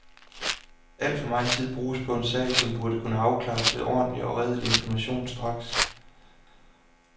Al for megen tid bruges på en sag, som burde kunne afklares ved ordentlig og redelig information straks.